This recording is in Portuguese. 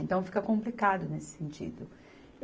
Então fica complicado nesse sentido.